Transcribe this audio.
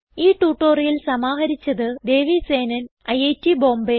ഈ ട്യൂട്ടോറിയൽ സമാഹരിച്ചത് ദേവി സേനൻ ഐറ്റ് ബോംബേ